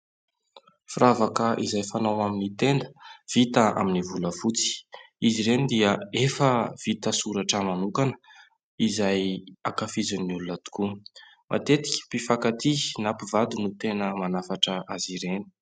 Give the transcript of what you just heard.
Firavaka izay fanao amin'ny tenda; vita amin'ny volafotsy, izy ireny dia efa vita soratra manokana izay ankafizin'ny olona tokoa. Matetika mpifakatia na mpivady no tena manafatra azy ireny.